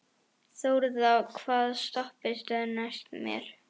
Þórða, hvaða stoppistöð er næst mér?